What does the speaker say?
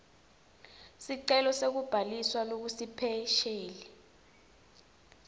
sicelo sekubhaliswa lokusipesheli